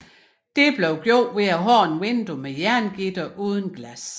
Det blev gjort ved at have et vindue med jerngitter uden glas